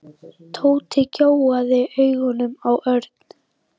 Tóti gjóaði augunum á Örn.